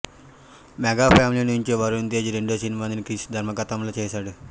mega family నుంచి వరుణ్ తేజ్ రెండో సినిమాని క్రిష్ దర్శకత్వంలోనే చేశాడు